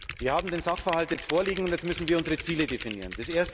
Wir haben den Sachverhalt jetzt vorliegen und müssen jetzt unsere Ziele definieren.